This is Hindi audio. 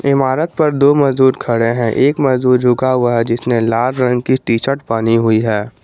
इमारत पर दो मजदूर खड़े हैं एक मजदूर झुका हुआ है जिसने लाल रंग की टी शर्ट पहनी हुई है।